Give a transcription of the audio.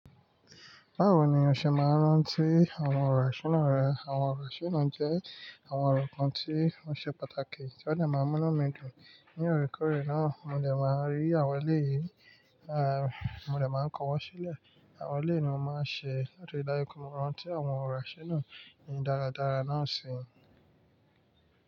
Báwo ni o ṣe máa rántí àwọn ọ̀rọ̀ àṣẹ náà rẹ? Àwọn ọ̀rọ̀ àṣẹ náà jẹ́ àwọn ọ̀rọ̀ kan tí ó ṣe pàtàkì tí ó lè máa mú inu dùn. Ní ọ̀rẹ́kọ̀ọ̀rẹ́ náà, mo dè máa rí àwọn ẹlẹ́yìí, a, mo dè máa kọ̀wọ́ sílẹ̀. Àwọn ẹlẹ́yìí ni mo máa ń ṣe láti dáríji kí ó máa ránti àwọn ọ̀rọ̀ àṣẹ náà ní dáradára náà ṣe.